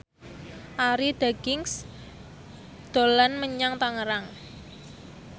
Arie Daginks dolan menyang Tangerang